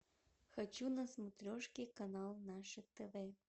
хочу на смотрешке канал наше тв